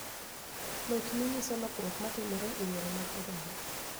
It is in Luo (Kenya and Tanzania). Lochni nyiso lokruok ma timore e yore mag oganda